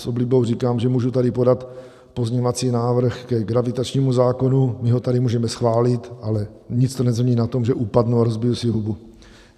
S oblibou říkám, že můžu tady podat pozměňovací návrh ke gravitačnímu zákonu, my ho tady můžeme schválit, ale nic to nezmění na tom, že upadnu a rozbiju si hubu.